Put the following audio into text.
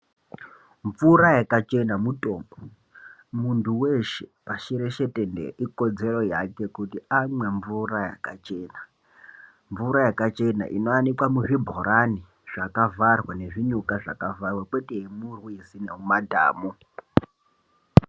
Mvura yakachena mutombo. Muntu weshe pashi reshe tenderere, ikodzero yake kuti amwe mvura yakachena .Mvura yakachena inowanikwa muzvibhorani zvakavharwa ,nezvinyuka zvakavharwa, kwete yemurwizi nemumadhamu.